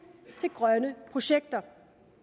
til grønne projekter